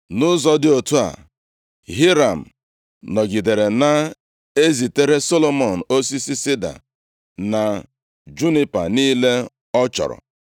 Nʼụzọ dị otu a, Hiram nọgidere na-ezitere Solomọn osisi sida na junipa niile ọ chọrọ.